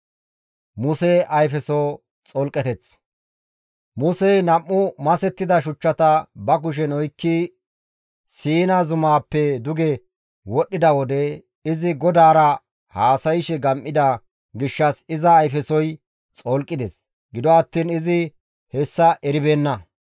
Musey nam7u masettida shuchchata ba kushen oykkidi Siina zumaappe duge wodhdhida wode, izi GODAARA haasayshe gam7ida gishshas iza ayfesoy xolqides; gido attiin izi hessa eribeenna.